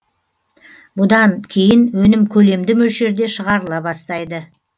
бұдан кейін өнім көлемді мөлшерде шығарыла бастайды